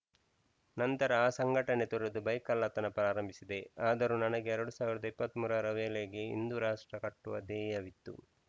ನಂತರ ಆ ಸಂಘಟನೆ ತೊರೆದು ಬೈಕ್‌ ಕಳ್ಳತನ ಪ್ರಾರಂಭಿಸಿದೆ ಆದರೂ ನನಗೆ ಎರಡ್ ಸಾವಿರದ ಇಪ್ಪತ್ತ್ ಮೂರು ರ ವೇಳೆಗೆ ಹಿಂದೂ ರಾಷ್ಟ್ರ ಕಟ್ಟುವ ಧ್ಯೇಯವಿತ್ತು